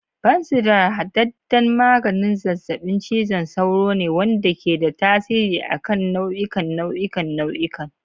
Fansidar hadadden maganin zazzabin cizon sauro ne wanda ke da tasiri a kan nau'ikan nau'ikan nau'ikan.